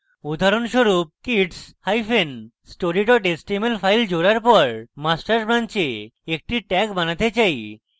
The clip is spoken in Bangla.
উদাহরণস্বরূপ adding kidsstory html file জোড়ার for master branch একটি tag বানাতে চাই